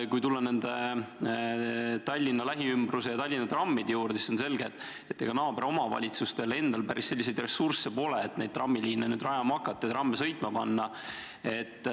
Kui tulla tagasi Tallinna ja selle lähiümbruse trammide juurde, siis on selge, et pealinna naaberomavalitsustel endal päris selliseid ressursse pole, et trammiliine rajama hakata ja trammid sõitma panna.